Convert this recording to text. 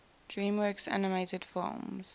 dreamworks animated films